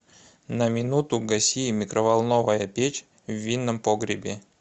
на минуту гаси микроволновая печь в винном погребе